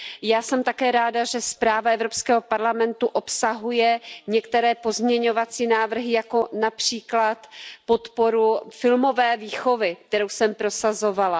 Já jsem také ráda, že zpráva Evropského parlamentu obsahuje některé pozměňovací návrhy, jako například podporu filmové výchovy, kterou jsem prosazovala.